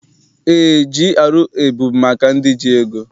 Eé, GRA bụ maka ndị ji ego.